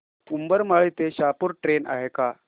उंबरमाळी ते शहापूर ट्रेन आहे का